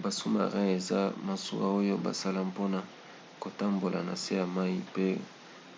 ba sous-marins eza masuwa oyo basala mpona kotambola na se ya mai pe